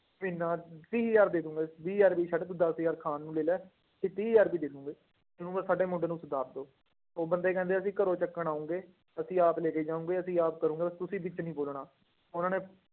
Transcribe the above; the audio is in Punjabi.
ਇੰਨਾ ਤੀਹ ਹਜ਼ਾਰ ਦੇ ਦਵਾਂਗੇ ਵੀਹ ਹਜ਼ਾਰ ਵੀ ਛੱਡ ਤੂੰ ਦਸ ਹਜ਼ਾਰ ਖਾਣ ਨੂੰ ਲੈ ਲਾ ਤੇ ਤੀਹ ਹਜ਼ਾਰ ਰੁਪਏ ਦੇ ਦਓਗੇ, ਇਹਨੂੰ ਬਸ ਸਾਡੇ ਮੁੰਡੇ ਨੂੰ ਸੁਧਾਰ ਦਓ, ਉਹ ਬੰਦੇ ਕਹਿੰਦੇ ਅਸੀਂ ਘਰੋਂ ਚੱਕਣ ਆਓਗੇ ਅਸੀਂ ਆਪ ਲੈ ਕੇ ਜਾਵਾਂਗੇ ਅਸੀਂ ਆਪ ਕਰਾਂਗੇ ਤੁਸੀਂ ਵਿੱਚ ਨੀ ਬੋਲਣਾ ਉਹਨਾਂ ਨੇ